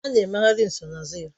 A na-emegharị nsonaazụ ya